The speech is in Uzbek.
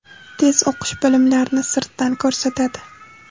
Tez o‘qish bilimlarni sirtdan ko‘rsatadi.